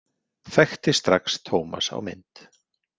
Þekkti strax Tómas á mynd.